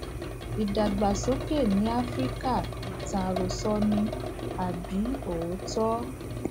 ìdàgbàsókè ní áfíríkà ìtàn àròsọ ni àbí òótó